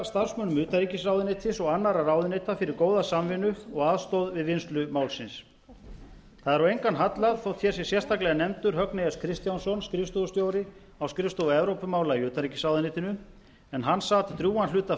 starfsmönnum utanríkisráðuneytis og annarra ráðuneyta fyrir góða samvinnu og aðstoð við vinnslu málsins það er á engan hallað þótt hér sé sérstaklega nefndur högni s kristjánsson skrifstofustjóri á skrifstofu evrópumála í utanríkisráðuneytinu en hann sat drjúgan hluta